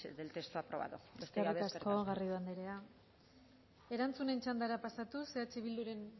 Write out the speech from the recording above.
del texto aprobado besterik gabe eskerrik asko eskerrik asko garrido andrea erantzunen txandara pasatuz eh bilduren